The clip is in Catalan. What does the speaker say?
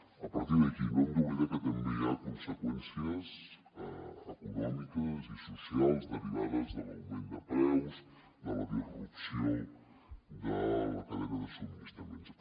a partir d’aquí no hem d’oblidar que també hi ha conseqüències econòmiques i socials derivades de l’augment de preus de la disrupció de la cadena de subministraments